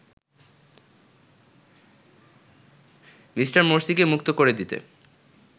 Me. মোরসিকে মুক্ত করে দিতে